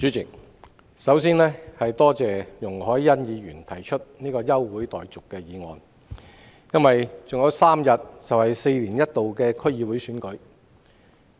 主席，我首先多謝容海恩議員提出這項休會待續議案，因為還有3天便舉行4年一度的區議會選舉。